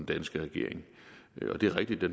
danske regering og det er rigtigt at